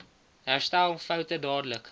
herstel foute dadelik